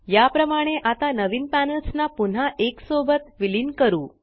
या प्रमाणे आता नवीन पॅनल्स ना पुन्हा एक सोबत विलीन करू